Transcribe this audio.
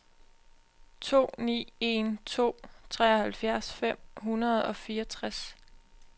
to ni en to treoghalvfjerds fem hundrede og fireogtres